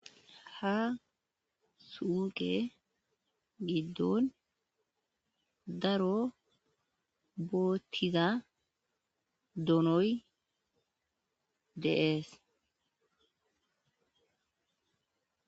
Ha suuqe giddon daro boottiza doonoy deees